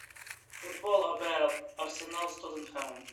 футбол апл арсенал с тоттенхэмом